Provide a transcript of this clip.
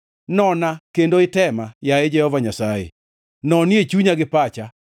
Nona kendo itema, yaye Jehova Nyasaye nonie chunya gi pacha;